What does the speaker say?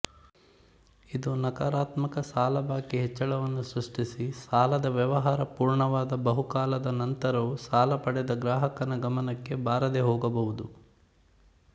ಇದು ನಕಾರಾತ್ಮಕ ಸಾಲಬಾಕಿ ಹೆಚ್ಚಳವನ್ನು ಸೃಷ್ಟಿಸಿಸಾಲದ ವ್ಯವಹಾರ ಪೂರ್ಣವಾದ ಬಹುಕಾಲದ ನಂತರವೂ ಸಾಲಪಡೆದ ಗ್ರಾಹಕನ ಗಮನಕ್ಕೆ ಬಾರದೇ ಹೋಗಬಹುದು